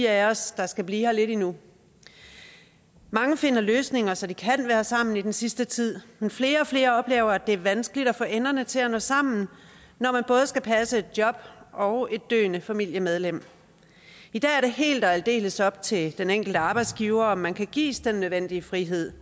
af os der skal blive her lidt endnu mange finder løsninger så de kan være sammen i den sidste tid men flere og flere oplever at det er vanskeligt at få enderne til at nå sammen når man både skal passe et job og et døende familiemedlem i dag er det helt og aldeles op til den enkelte arbejdsgiver om man kan gives den nødvendige frihed